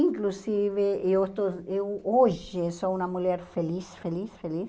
Inclusive, eu estou eu hoje sou uma mulher feliz, feliz, feliz.